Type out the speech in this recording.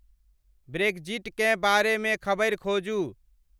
ब्रेक्जिटकें बारे में खबरि खोजु ।